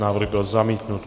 Návrh byl zamítnut.